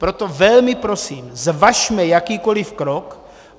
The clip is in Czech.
Proto velmi prosím, zvažme jakýkoliv krok.